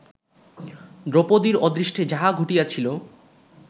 দ্রৌপদীর অদৃষ্টে যাহা ঘটিয়াছিল